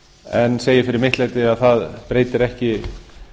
en segi fyrir mitt leyti að það breytir ekki